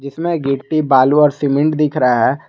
इसमें गिट्टी बालू और सीमेंट दिख रहा है।